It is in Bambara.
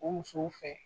O musow fɛ